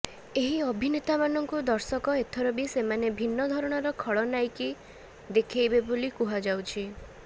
ଏହି ଅଭିନେତାମାନଙ୍କୁ ଦର୍ଶକ ଏଥର ବି ସେମାନେ ଭିନ୍ନ ଧରଣର ଖଳନାୟିକୀ ଦେଖାଇବେ ବୋଲି କୁହାଯାଉଛି